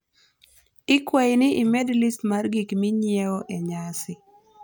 ikwai ni imed list mar gik minyiew enyasi